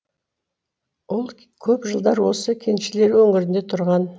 ол көп жылдар осы кеншілер өңірінде тұрған